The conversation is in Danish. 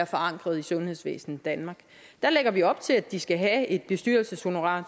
forankret i sundhedsvæsen danmark der lægger vi op til at de skal have et bestyrelseshonorar